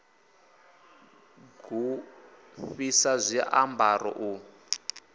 g u fhisa zwiambaro u